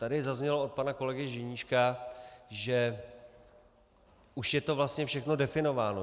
Tady zaznělo od pana kolegy Ženíška, že už je to vlastně všechno definováno.